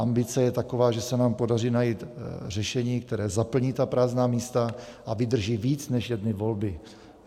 Ambice je taková, že se nám podaří najít řešení, které zaplní ta prázdná místa a vydrží víc než jedny volby.